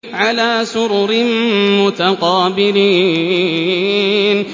عَلَىٰ سُرُرٍ مُّتَقَابِلِينَ